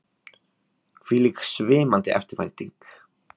Hvílík svimandi eftirvænting!